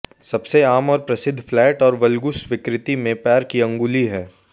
सबसे आम और प्रसिद्ध फ्लैट और वल्गुस विकृति मैं पैर की अंगुली है